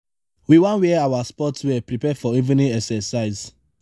we wan wear our sports wear prepare for evening exercise.